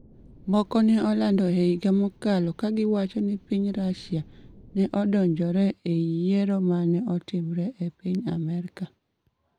Moko ne olando e higa mokalo ka giwacho ni piny Russia ne odonjore e yiero ma ne otimre e piny Amerka.